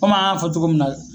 Kom' an ya fɔ cogo min na.